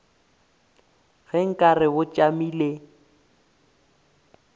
ge nka re bo tšamile